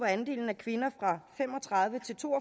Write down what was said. andelen af kvinder fra fem og tredive til to og